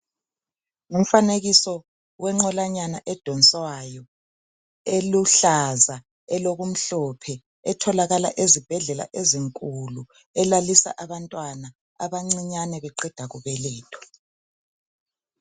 Umfanekiso wenqolanyana edoswayo eluhlaza, elokumhlophe etholakala ezibhedlela ezinkulu. Elalisa abantwana abancinyane beqeda kubelethwa.